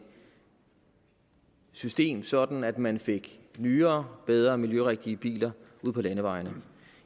system sådan at man fik nyere bedre og miljørigtige biler ud på landevejene